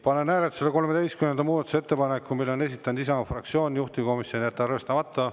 Panen hääletusele 13. muudatusettepaneku, mille on esitanud Isamaa fraktsioon, juhtivkomisjon: jätta arvestamata.